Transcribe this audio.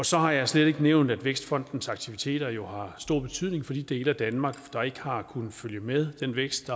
så har jeg slet ikke nævnt at vækstfondens aktiviteter jo har stor betydning for de dele af danmark der ikke har kunnet følge med den vækst